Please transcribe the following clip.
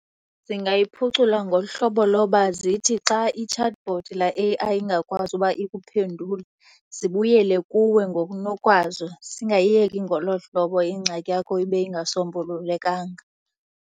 Zingayiphucula ngolu hlobo loba zithi xa i-chatbot laa A_I ingakwazi uba ikuphendule zibuyele kuwe ngokunokwazo, zingayiyeki ngolo hlobo ingxaki yakho ibe ingasombululekanga.